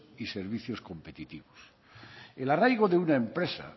y servicios competitivos el arraigo de una empresa